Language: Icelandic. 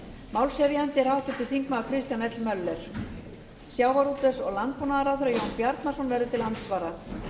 málshefjandi er háttvirtur þingmaður kristján l möller sjávarútvegs og landbúnaðarráðherra jón bjarnason verður til andsvara